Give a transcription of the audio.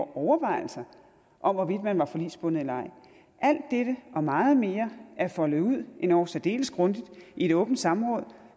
overvejelser om hvorvidt man var forligsbundet eller ej alt dette og meget mere er foldet ud endog særdeles grundigt i et åbent samråd